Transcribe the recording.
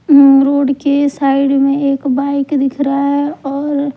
हम्म road के side में एक बाइक दिख रहा है और--